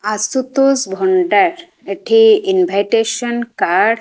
ଆଶୁତୋଷ ଭଣ୍ଡାର ଏଠି invitation card.